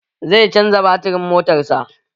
Zai canza baturin motar sa